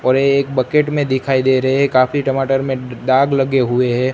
और ये एक बकेट में दिखाई दे रहे काफी टमाटर में दाग लगे हुए है।